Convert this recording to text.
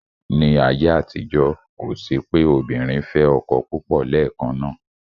Ní ayé àtijọ́, kò sí pé obìnrin fẹ́ ọkọ púpọ̀ lẹ́ẹ̀kan náà.